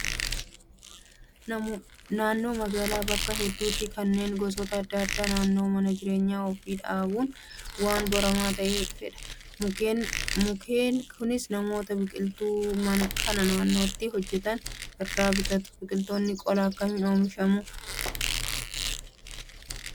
Naannoo magaalaa bakka hedduutti mukkeen gosoota adda addaa naannoo mana jireenya ofii dhaabuun waan baramaa ta'aa dhufeera. Mukkeen kunis namoota biqiltuu kana naannootti hojjatana irraa bitatu. Biqiloota qolaa akkamiin oomishuu?